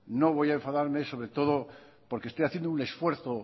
no voy a enfadarme sobre todo porque estoy haciendo un esfuerzo